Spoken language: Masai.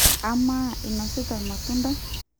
amaa inosita ilmatunda?